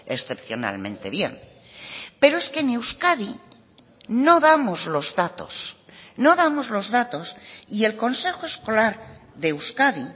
excepcionalmente bien pero es que en euskadi no damos los datos no damos los datos y el consejo escolar de euskadi